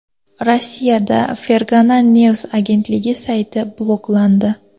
Rossiyada Fergana News agentligi sayti bloklandi.